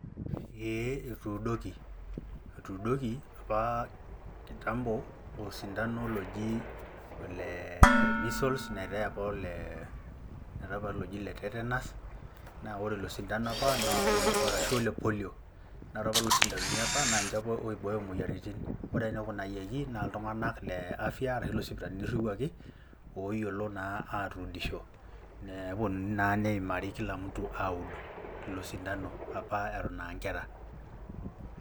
ee etuduuki, etuudoki apa kitambo osintanol oji ole measles neteeku oel oloji ole tetanus ashu oel polio. naa ore lelo sindanoni apa, naa ninche oibooyo moyiaritin, ore enekunayioki, naa iltunganak le afia ashu iloo sipitalini iriwuaki ooyiolo naa atuudisho. naa nepuonunui naa neimari kila mtu aud ilo sindano apa naa eton aa nkera.